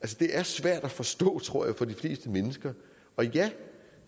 det er svært at forstå tror jeg for de fleste mennesker og ja